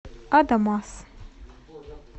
адамас